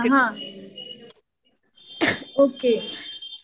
हा. ing okay.